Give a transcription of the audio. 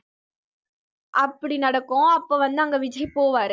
அப்படி நடக்கும் அப்ப வந்து அங்க விஜய் போவாரு